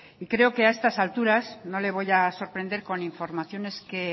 y creo que a estas alturas no le voy a sorprender con informaciones que